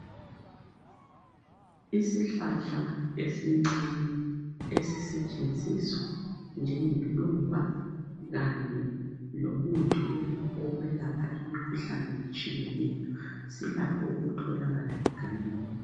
Isihlahla esincane esisetshenziswa njengeluba kanye lomuthi wokwelapha imikhuhlane etshiyeneyo. silakho ukutholakala egangeni.